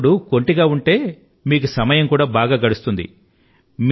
మీ సోదరుడు కొంటె గా ఉంటే మీకు సమయం కూడా బాగా గడుస్తుంది